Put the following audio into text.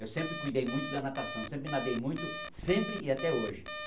Eu sempre cuidei muito da natação, sempre nadei muito, sempre e até hoje.